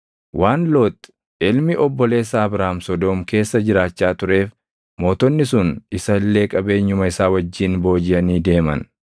Waan Loox ilmi obboleessa Abraam Sodoom keessa jiraachaa tureef mootonni sun isa illee qabeenyuma isaa wajjin boojiʼanii deeman.